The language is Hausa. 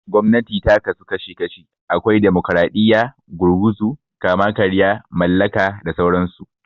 Gwamnati ta ka su kashi kashi, akwai Damokaraɗiya, Gurguzu, Kama-karya, Mallaka da sauran su.